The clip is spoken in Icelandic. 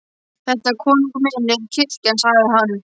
Þetta, konungur minn, er kirkjan, sagði hann.